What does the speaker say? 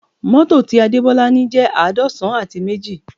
Mọ́tò ti Adebola ni jẹ́ àádọ́san àti méjì